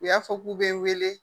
U y'a fɔ k'u bɛ n wele